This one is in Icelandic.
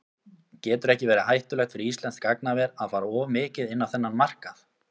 Getur ekki verið hættulegt fyrir íslenskt gagnaver að fara of mikið inn á þennan markað?